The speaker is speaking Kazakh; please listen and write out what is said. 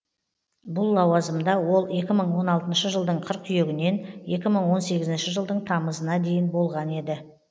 бұл лауазымда ол екі мың он алтыншы жылдың қыркүйегінен екі мың он сегізінші жылдың тамызына дейін болған еді